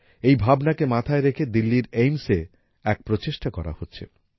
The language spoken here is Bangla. এই ভাবনাকে মাথায় রেখে দিল্লীর AIIMSএ এক প্রচেষ্টা করা হচ্ছে